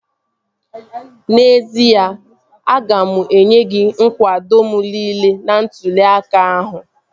N'ezie, aga m enye gị nkwado m niile n'ntụli aka ahụ